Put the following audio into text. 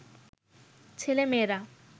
ছেলে-মেয়েরা